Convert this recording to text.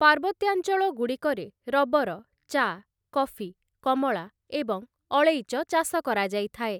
ପାର୍ବତ୍ୟାଞ୍ଚଳଗୁଡ଼ିକରେ rubber, ଚା', coffee, କମଳା ଏବଂ ଅଳେଇଚ ଚାଷ କରାଯାଇଥାଏ ।